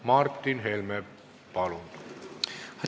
Martin Helme, palun!